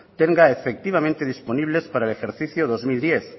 tenga efectivamente disponibles para el ejercicio dos mil diez